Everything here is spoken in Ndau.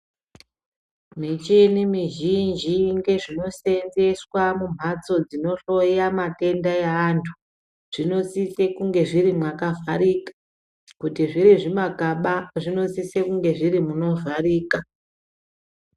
Michini mizhinji nezvinosevenzeswa mumbatso dzino hloya matenda evantu zvinosisa kunge zviri makavharika kuti zviri zvima kana zvinosisa kunge zviri munovharika.